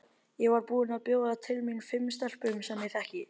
Ég var búin að bjóða til mín fimm stelpum sem ég þekki.